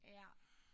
Ja